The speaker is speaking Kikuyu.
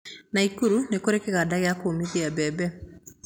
Naikuru nĩkũrĩ kĩganda gĩa kũũmithia mbembe